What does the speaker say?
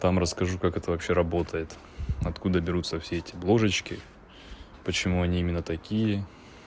там расскажу как это вообще работает откуда берутся все эти ложечки почему они именно такие